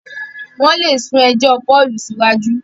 wón lè sún ejò Paul siwaju.